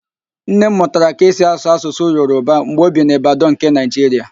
Nne m mụtara ka e si asụ Asụsụ Yoroba mgbe o bi n'Ibadan nke Naịjiria